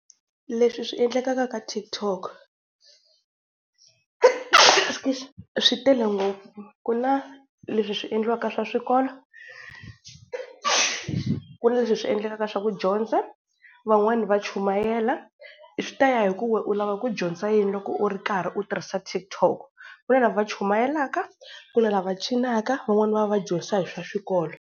Leswi swi endlekaka ka TikTok, swi tele ngopfu. Ku na leswi swi endliwaka swa swikolo, ku na leswi swi endlekaka swa ku dyondza. Van'wana va chumayela swi ta ya hi ku we u lava ku dyondza yini loko u ri karhi u tirhisa TikTok ku na lava chumayelaka ku na lava cinaka van'wani va dyondzisa hi swa xikolo.